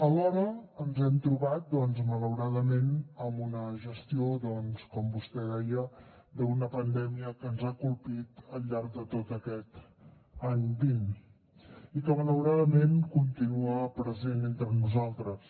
alhora ens hem trobat doncs malauradament amb una gestió doncs com vostè deia d’una pandèmia que ens ha colpit al llarg de tot aquest any vint i que malauradament continua present entre nosaltres